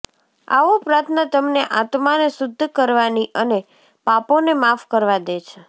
આવો પ્રાર્થના તમને આત્માને શુદ્ધ કરવાની અને પાપોને માફ કરવા દે છે